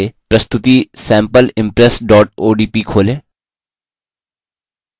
पहले प्रस्तुति sampleimpress odp खोलें